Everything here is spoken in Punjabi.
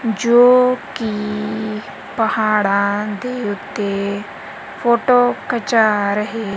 ਜੋ ਕੀ ਪਹਾੜਾਂ ਦੇ ਓੱਤੇ ਫੋਟੋ ਖਿੰਚਾ ਰਹੇ--